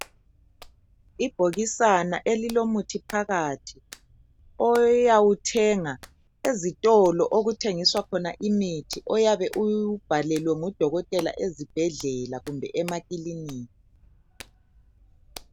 Ibhokisana elilomuthi phakathi oyawuthenga ezitolo okuthengiswa khona imithi ayabe uwubhalelwe ngu dokotela ezibhedlela kumbe emakiliniki .